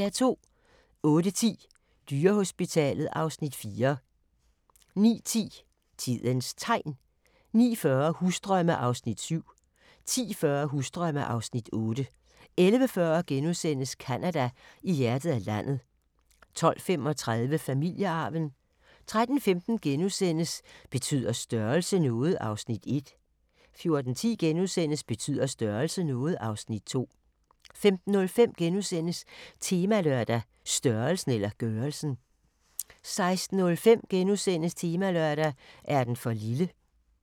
08:10: Dyrehospitalet (Afs. 4) 09:10: Tidens Tegn 09:40: Husdrømme (Afs. 7) 10:40: Husdrømme (Afs. 8) 11:40: Canada: I hjertet af landet * 12:35: Familiearven 13:15: Betyder størrelse noget? (Afs. 1)* 14:10: Betyder størrelse noget? (Afs. 2)* 15:05: Temalørdag: Størrelsen eller gørelsen? * 16:05: Temalørdag: Er den for lille? *